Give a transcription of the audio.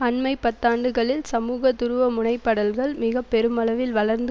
அண்மை பத்தாண்டுகளில் சமூக துருவமுனைப்படல்கள் மிக பெருமளவில் வளர்ந்து